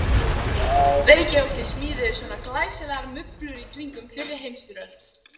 Reykjavík sem smíðuðu svona glæsilegar mublur í kringum fyrri heimsstyrjöld.